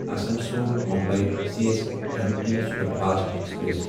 Asansol Mumbai C S M T superfast express